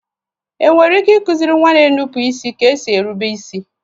È nwere ike ịkụziri nwa na-énupụ isi ka esi érubé isi?